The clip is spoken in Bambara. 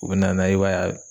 U bɛ na n'a ye i b'a